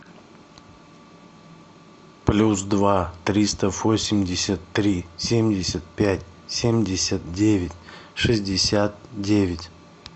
плюс два триста восемьдесят три семьдесят пять семьдесят девять шестьдесят девять